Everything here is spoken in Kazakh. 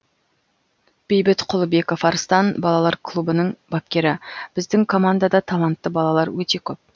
бейбіт құлыбеков арыстан балалар клубының бапкері біздің командада талантты балалар өте көп